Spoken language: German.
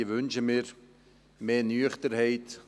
Ich wünsche mir bei diesem Thema mehr Nüchternheit.